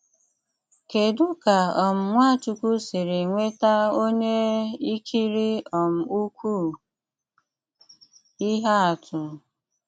Kédú̀ ka um Nwáchùkwù sìrì nwetà ọ́nyà ị̀kìrí um ụ̀kwụ́ ìhè àtụ̀?